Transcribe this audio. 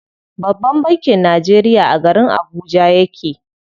Babban bankin Najeriya a garin Abuja yake.